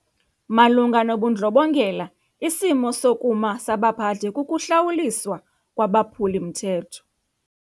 Malunga nobundlobongela isimo sokuma sabaphathi kukuhlawuliswa kwabaphuli-mthetho.